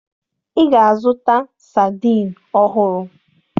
Ị ga-azụta sadiin ọhụrụ!